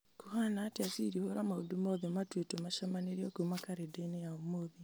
kũhana atĩa siri hura maũndũ mothe matuĩtwo macemanĩrio kuma karenda-inĩ ya ũmũthĩ